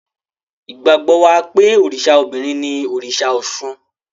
Ìgbàgbọ́ wà pé òrìṣà obìnrin ni òrìṣà Ọ̀ṣun.